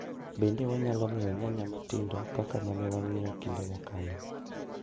Bende wanyalo nyiewo nyanya matindo kaka mane wanyiewo kinde mokalo?